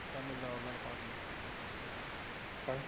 தமிழ்ல அவ்ளோ நேரம் பாக்க மாட்டாங்க குறைச்சிடலாம் சொல்லி குறைச்சி~